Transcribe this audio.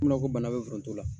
Ko mun nan ko bana bɛ foron t'o la